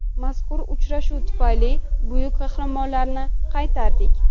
Mazkur uchrashuv tufayli buyuk qahramonlarni qaytardik.